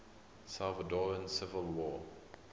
salvadoran civil war